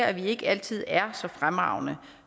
at vi ikke altid er så fremragende